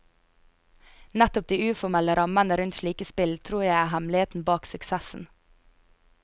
Nettopp de uformelle rammene rundt slike spill tror jeg er hemmeligheten bak suksessen.